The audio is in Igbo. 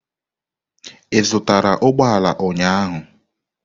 Ị zụtara ụgbọ ala ụnyahụ?